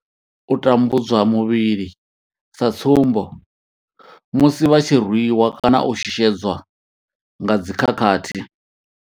U tambudzwa muvhili sa tsumbo, musi vha tshi rwi wa kana u shushedzwa nga dzi khakhathi.